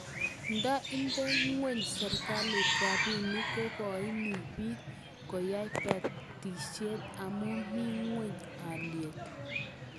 Nda inde ngweny serikalit rabinik ko koini bik koyai batishet amu mie ngweny alyet